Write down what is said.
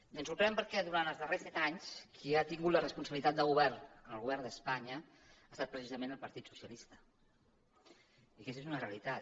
i ens sorprèn perquè durant els darrers set anys qui ha tingut la responsabilitat de govern en el govern d’espanya ha estat precisament el partit socialista i aquesta és una realitat